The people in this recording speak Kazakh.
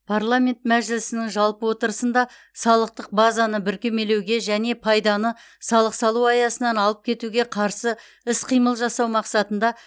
парламент мәжілісінің жалпы отырысында салықтық базаны бүркемелеуге және пайданы салық салу аясынан алып кетуге қарсы іс қимыл жасау мақсатында